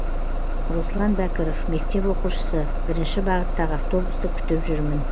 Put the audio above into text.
руслан бәкіров мектеп оқушысы бірінші бағыттағы автобусты күтіп жүрмін